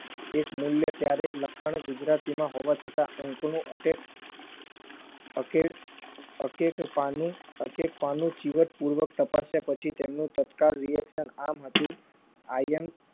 એકમૂલ્ય ત્યારે લખાણ ગુજરાતીમાં હોવા છતાં અંકનું અટેક અકેડ અકેક પાનું અકેક પાનું ચીવટપૂર્વક તપસ્યા પછી તેમનું તત્કાળ reaction આમ હતું I am